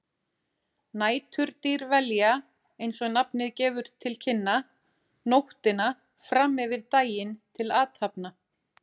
Næturdýr velja, eins og nafnið gefur til kynna, nóttina fram yfir daginn til athafna.